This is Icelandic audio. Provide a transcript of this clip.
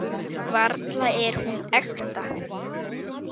Varla er hún ekta.